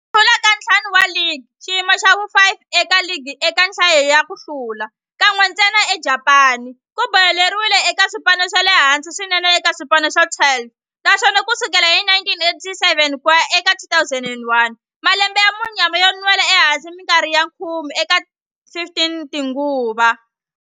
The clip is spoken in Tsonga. Ku hlula ka ntlhanu wa ligi xiyimo xa vu 5 eka ligi eka nhlayo ya ku hlula, kan'we ntsena eJapani ku boheleriwile eka swipano swa le hansi swinene eka swipano swa 12, naswona ku sukela hi 1987 ku ya eka 2001, malembe ya munyama yo nwela ehansi minkarhi ya khume eka 15 tinguva.